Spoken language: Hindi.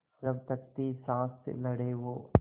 जब तक थी साँस लड़े वो